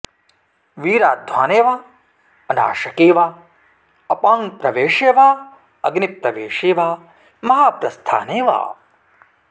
वीराध्वाने वा अनाशके वा अपां प्रवेशे वा अग्निप्रवेशे वा महाप्रस्थाने वा